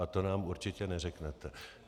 A to nám určitě neřeknete.